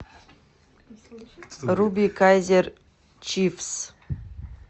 руби кайзер чифс